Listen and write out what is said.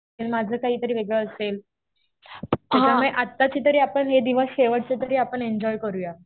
माझं काहीतरी वेगळं असेल. त्याच्यामुळे आताचे तरी आपण हे दिवस शेवटचे तरी आपण एन्जॉय करूया.